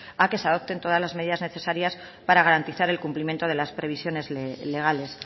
a que se adopten todas las medidas necesarias para garantizar el cumplimiento de las previsiones legales